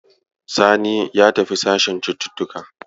Sani ya tafi sashen cututtuka.